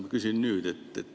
Ma küsin nüüd.